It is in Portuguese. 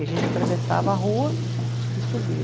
E a gente atravessava a rua e subia.